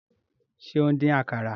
Se o n dín àkàrà?